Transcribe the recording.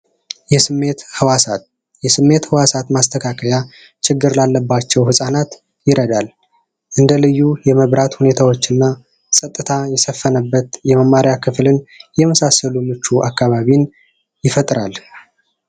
የስሜት ህዋሳት! የስሜት ህዋሳት ማስተካከያ ችግር ላለባቸው ህፃናት ይረዳናል። እንደ ልዩ የመብራት ሁኔታወች እና ፀጥታ የሰፈነበት የመማሪያ ክፍልን የመሳሰሉ ምቹ አካባቢን ይፈጥራል።